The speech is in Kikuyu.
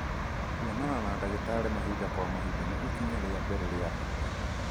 kuonana na ndagĩtarĩ mahinda kwa mahinda nĩ ikinya rĩa mbere rĩa bata.